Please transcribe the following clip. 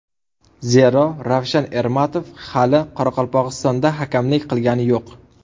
Zero, Ravshan Ermatov hali Qoraqalpog‘istonda hakamlik qilgani yo‘q.